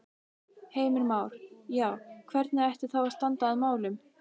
Heimir Már: Já, hvernig ætti þá að standa að málum?